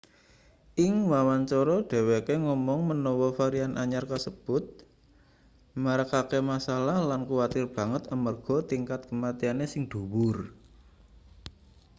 ing wawancara dheweke ngomong menawa varian anyar kasebut marakake masalah lan kuwatir banget amarga tingkat kematiane sing dhuwur